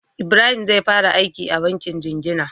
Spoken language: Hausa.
Ibrahim zai fara aiki a bankin jingina